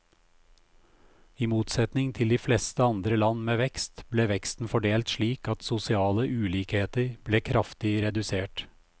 I motsetning til de fleste andre land med vekst, ble veksten fordelt slik at sosiale ulikheter ble kraftig redusert.